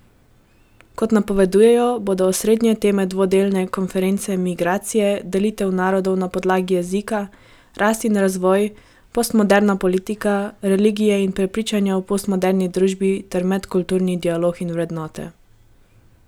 Kot napovedujejo, bodo osrednje teme dvodnevne konference migracije, delitve narodov na podlagi jezika, rast in razvoj, postmoderna politika, religije in prepričanja v postmoderni družbi ter medkulturni dialog in vrednote.